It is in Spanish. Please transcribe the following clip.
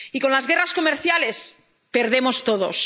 Y con las guerras comerciales perdemos todos.